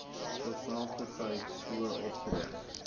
terselfdertyd so optree